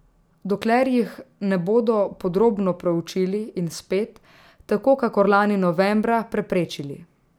Dokler jih ne bodo podrobno proučili in spet, tako kakor lani novembra, preprečili.